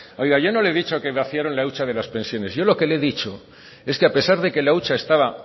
yo no le he dicho que vaciaron la hucha de las pensiones yo lo que le he dicho es que a pesar de que la hucha estaba